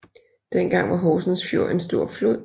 Dengang var Horsens Fjord en stor flod